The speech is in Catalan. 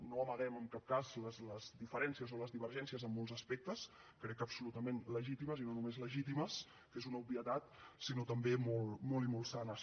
no amaguem en cap cas les diferències o les divergències en molts aspectes crec que absolutament legítimes i no només legítimes que és una obvietat sinó també molt i molt sanes